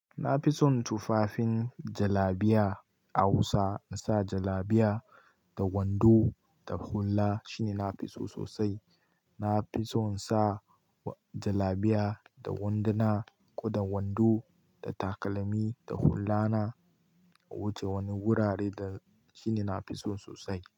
Na fi son tufafin jalabiya a Hausa. Na sa jalabiya da wando da hulla shine nafi so sosai. Na fi son sa jalabiya da wanduna ko da wando da takalmi da hullana wuce wani gurare da shine nafi so sosai.